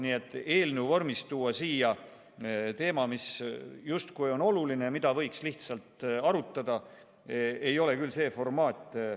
Nii et tuua eelnõu vormis siia teema, mis küll on oluline, aga mida võiks lihtsalt arutada – see ei ole küll õige formaat.